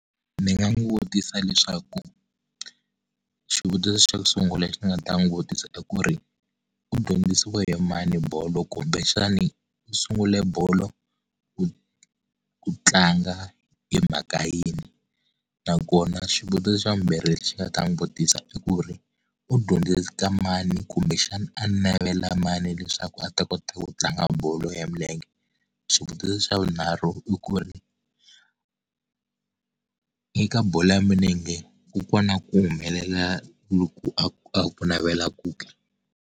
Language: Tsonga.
Ndzi nga n'wi vutisa leswaku, xivutiso xo sungula lexi nga ta n'wi vutisa i ku ri, u dyondzisiwe hi mani bolo kumbexani u sungule bolo ku ku tlanga hi mhaka yini? Nakona xivutiso xa vumbirhi lexi ni nga ta n'wi vutisa i ku ri, u dyondze eka mani kumbexana a navela mani leswaku a ta kota u tlanga bolo ya milenge? Xivutiso xa vunharhu i ku ri eka bolo ya milenge, ku kona ku humelela loku a ku a ku navelaku ke?